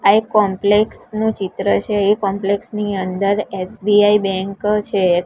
આ એક કોમ્પલેક્ષ નું ચિત્ર છે એ કોમ્પલેક્ષ ની અંદર એસ_બી_આઇ બેન્ક છે એક.